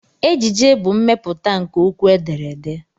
Ejije bụ mmepụta nke okwu edere ede.